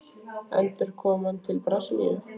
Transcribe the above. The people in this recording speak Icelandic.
Endurkoma til Brasilíu?